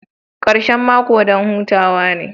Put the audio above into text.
Karshen mako don hutawa ne